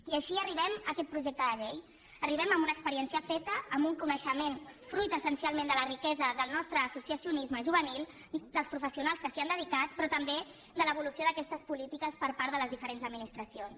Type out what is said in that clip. i així arribem a aquest projecte de llei hi arribem amb una experiència feta amb un coneixement fruit essencialment de la riquesa del nostre associacionisme juvenil dels professionals que s’hi ha dedicat però també de l’evolució d’aquestes polítiques per part de les diferents administracions